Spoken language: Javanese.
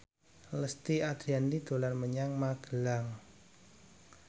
Lesti Andryani dolan menyang Magelang